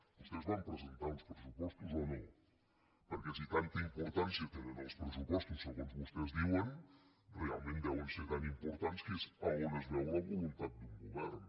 vostès van presentar uns pressupostos o no perquè si tanta importància tenen els pressupostos segons vostès diuen realment deuen ser tan importants que és a on es veu la voluntat d’un govern